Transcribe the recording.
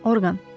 Orqan.